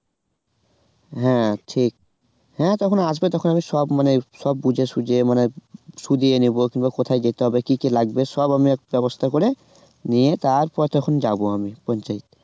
হ্যাঁ ঠিক হ্যাঁ তখন আসবে তখন আমি সব মানে সব বুঝে সুঝে মানে সুঝিয়ে নেবো কিংবা কোথায় যেতে হবে কি কি লাগবে সব আমি করে নিয়ে তারপর যখন যাবো আমি